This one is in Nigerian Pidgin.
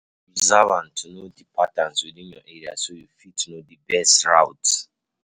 Dey observant to know di patterns within your area so you go fit know di best routes